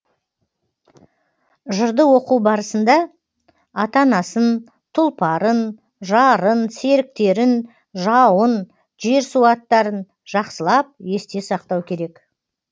жырды оқу барысында ата анасын тұлпарын жарын серіктерін жауын жер су аттарын жақсылап есте сақтау керек